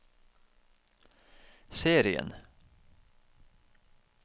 serien